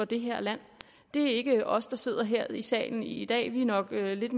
det her land det er ikke os der sidder her i salen i dag vi er nok lidt